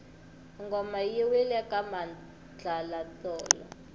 ngoma yi wile ka madlala tolo